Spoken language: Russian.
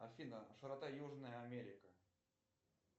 афина широта южная америка